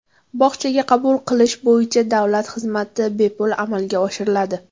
Bog‘chaga qabul qilish bo‘yicha davlat xizmati bepul amalga oshiriladi.